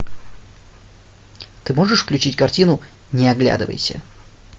ты можешь включить картину не оглядывайся